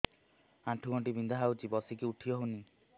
ଆଣ୍ଠୁ ଗଣ୍ଠି ବିନ୍ଧା ହଉଚି ବସିକି ଉଠି ହଉନି